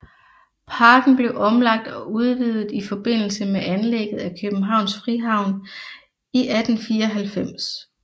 Parken blev omlagt og udvidet i forbindelse med anlægget af Københavns Frihavn i 1894